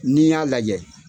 N'i y'a lajɛ